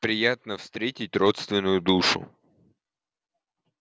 приятно встретить родственную душу